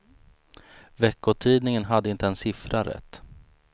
Veckotidningen hade inte en siffra rätt.